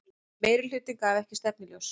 Meirihluti gaf ekki stefnuljós